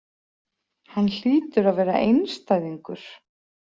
Hann hlýtur að vera einstæðingur.